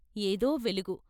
ఏదో వెలుగు.